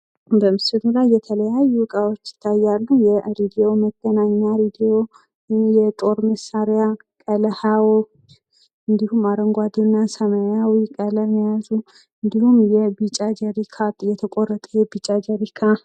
በምስሉ ላይ የተለያዩ እቃዎች ይታያሉ፡፡ የሬዲዮ መገናኛ ሬዲዮ፣ የጦር መሳሪያዎች ፣ እንዲሁም አረንጓዴ እና ሰማያዊ ቀለም የያዙ እንዲሁም የቢጫ ጀሪካ የተቆራረጠ የቢጫ ጀሪካ